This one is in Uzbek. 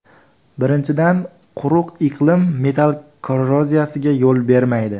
Birinchidan, quruq iqlim metall korroziyasiga yo‘l bermaydi.